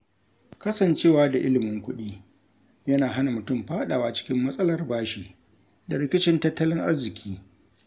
Kasancewa da ilimin kuɗi, yana hana mutum fadawa cikin matsalar bashi da rikicin tattalin arziki.